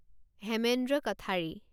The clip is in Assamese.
হেমেন্দ্ৰ কঠাৰী